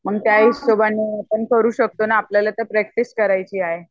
म त्या हिशोबानी आपण करू शकतो ना आपल्याला तर प्रॅक्टिस करायची आहे